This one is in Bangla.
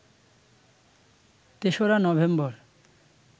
তেসরা নভেম্বর